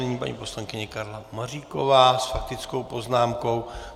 Nyní paní poslankyně Karla Maříková s faktickou poznámkou.